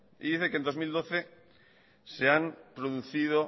y dice que en dos mil doce se han producido